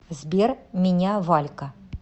сбер меня валька